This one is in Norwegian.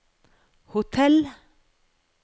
hotell